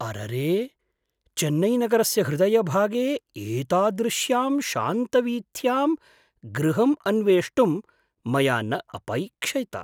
अररे, चेन्नैनगरस्य हृदयभागे एतादृश्यां शान्तवीथ्यां गृहम् अन्वेष्टुं मया न अपैक्ष्यत।